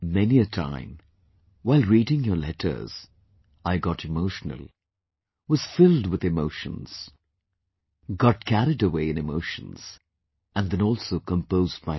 Many a time while reading your letters, I got emotional, was filled with emotions, got carried away in emotions and then also composed myself